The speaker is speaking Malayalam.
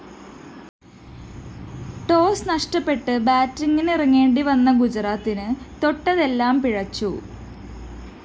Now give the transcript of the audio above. ടോസ്‌ നഷ്ടപ്പെട്ട് ബാറ്റിങ്ങിനിറങ്ങേണ്ടിവന്ന ഗുജറാത്തിന് തൊട്ടതെല്ലാം പിഴച്ചു